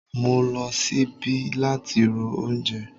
Mo lo sibi lati ro oúnjẹ